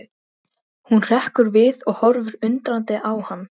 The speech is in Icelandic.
Hvimaði augunum fram á ganginn öðru hverju.